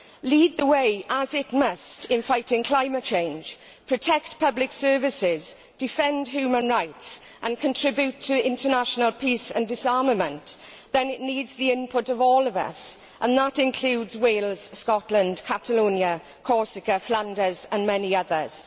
lead the way as it must in fighting climate change, protect public services, defend human rights and contribute to international peace and disarmament, then it needs the input of all of us, and that includes Wales, Scotland, Catalonia, Corsica, Flanders and many others.